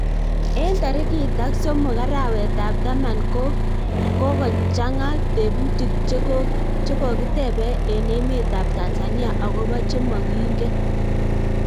eng tarikit ak somok arawe tab taman ko kokochang tebutiik chekokutebei eng emetab Tanzania akob chemokingen